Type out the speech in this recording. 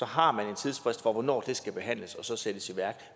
har man en tidsfrist for hvornår det skal behandles og sættes i værk